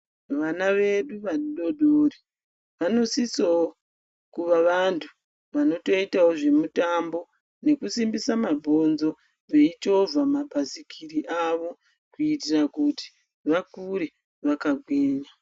Vana vedu vadodori vanosisewo kuva vantu vanotoitawo zvemitambo nekusimbisa mabhonzo, veichovha mabhasikiri avo kuitira kuti, vakure vakagwinya.